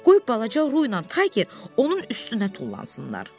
Qoy balaca Ruyla Tayger onun üstünə tullansınlar.